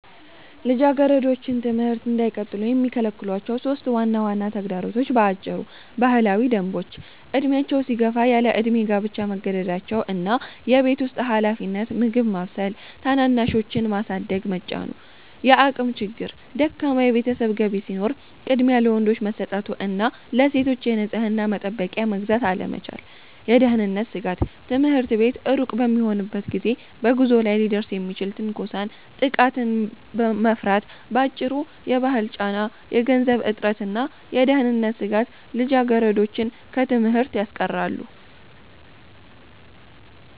ልጃገረዶች ትምህርት እንዳይቀጥሉ የሚከለክሏቸው 3 ዋና ዋና ተግዳሮቶች በአጭሩ፦ ባህላዊ ደንቦች፦ ዕድሜያቸው ሲገፋ ያለዕድሜ ጋብቻ መገደዳቸው እና የቤት ውስጥ ኃላፊነት (ምግብ ማብሰል፣ ታናናሾችን ማሳደግ) መጫኑ። የአቅም ችግር፦ ደካማ የቤተሰብ ገቢ ሲኖር ቅድሚያ ለወንዶች መሰጠቱ እና ለሴቶች የንጽሕና መጠበቂያ መግዛት አለመቻል። የደህንነት ስጋት፦ ትምህርት ቤት ሩቅ በሚሆንበት ጊዜ በጉዞ ላይ ሊደርስ የሚችልን ትንኮሳና ጥቃት መፍራት። ባጭሩ፤ የባህል ጫና፣ የገንዘብ እጥረትና የደህንነት ስጋት ልጃገረዶችን ከትምህርት ያስቀራሉ።